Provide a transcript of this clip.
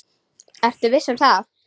Vertu viss um það.